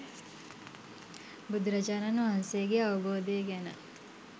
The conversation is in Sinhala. බුදුරජාණන් වහන්සේගේ අවබෝධය ගැන